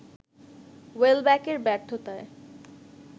ওয়েলব্যাকের ব্যর্থতায়